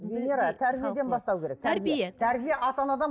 венера тәрбиеден бастау керек тәрбие тәрбие ата анадан